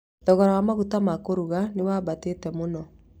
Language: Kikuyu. Thogora wa magũta ma kũruga nĩ wambatĩte mũno